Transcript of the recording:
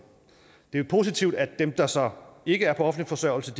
det er positivt at dem der så ikke er på offentlig forsørgelse